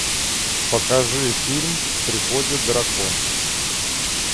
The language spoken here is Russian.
покажи фильм приходит дракон